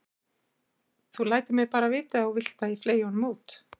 Þú lætur mig bara vita ef þú vilt að ég fleygi honum út.